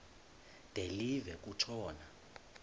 de live kutshona